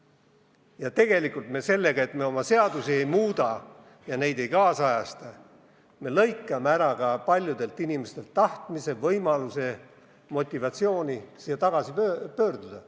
Ja tegelikult sellega, et me oma seadusi ei muuda ja neid ei kaasajasta, lõikame paljudelt inimestelt ära ka tahtmise, võimaluse, motivatsiooni siia tagasi pöörduda.